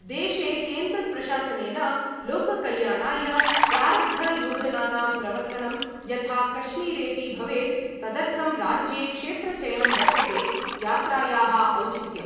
देशे केन्द्रप्रशासनेन लोककल्याणाय प्रारब्धयोजनानां प्रवर्तनं यथा कश्मीरेपि भवेत् तदर्थं राज्ये क्षेत्रचयनं वर्तते यात्रायाः औचित्यम्।